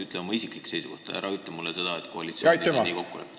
Ütle oma isiklik seisukoht, ära ütle seda, et koalitsioonis on nii kokku lepitud.